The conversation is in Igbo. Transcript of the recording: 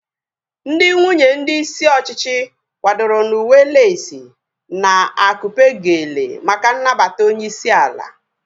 Ndị nwunye ndị isi ọchịchị kwadoro n'uwe leesi na akupe geele maka nnabata onyeisi ala